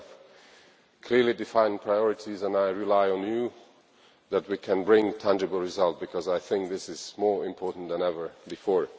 We have clearly defined priorities and I rely on you that we can bring tangible results because I think this is more important than ever before.